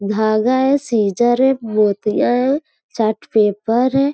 धागा है सीज़र्स है मोतिया है चार्ट पेपर है।